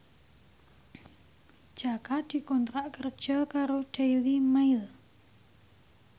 Jaka dikontrak kerja karo Daily Mail